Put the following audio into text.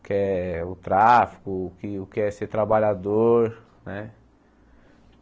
o que é o tráfico, o que é o que é ser trabalhador, né?